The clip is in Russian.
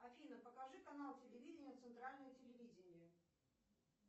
афина покажи канал телевидения центральное телевидение